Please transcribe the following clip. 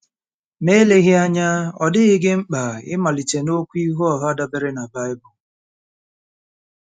Ma eleghị anya ọ dịghị gị mkpa ịmalite n'okwu ihu ọha dabeere na Bible..